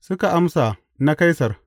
Suka amsa, Na Kaisar.